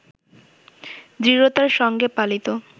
দৃঢ়তার সঙ্গে পালিত